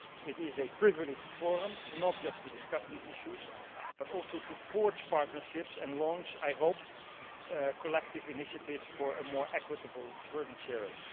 It is a privileged forum, not just to discuss these issues but also to forge partnerships and launch, I hope, collective initiatives for a more equitable burden sharing.